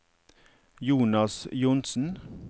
Jonas Johnsen